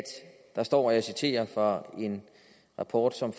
og jeg citerer fra en rapport som